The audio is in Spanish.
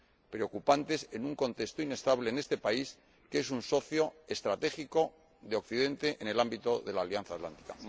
preocupantes en un contexto inestable en este país que es un socio estratégico de Occidente en el ámbito de la Alianza Atlántica.